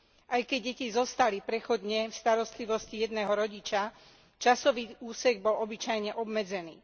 Aj keď deti zostali prechodne v starostlivosti jedného rodiča, časový úsek bol obyčajne obmedzený.